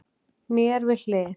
Mér við hlið